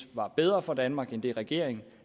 var bedre for danmark end det regeringen